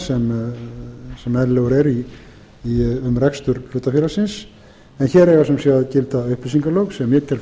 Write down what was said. sem eðlilegur er um rekstur hlutafélagsins en hér eiga sem sé að gilda upplýsingalög sem ég tel fullkomlega